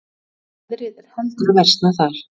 Veðrið er heldur að versna þar